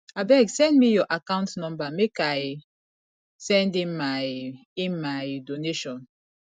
abeg send me your account number make i send in my in my donation